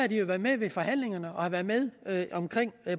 de jo været med ved forhandlingerne og været med omkring